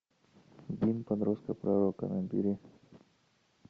гимн подростка пророка набери